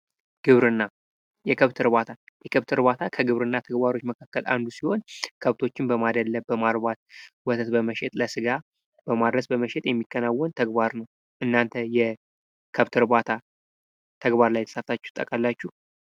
ግብርና የከብት እርባታ የከብት እርባታ ከግብርና ተግባሮች መካከል አንዱ ሲሆን ከብቶችን በማድለብ በማርባት ወተት በመሸጥ ለስጋ በማድረስ በመሸጥ የሚከናወን ተግባር ነው። እናንተ የከብት እርባታ ተግባር ላይ ተሳትፋችሁ ታውቃላችሁ?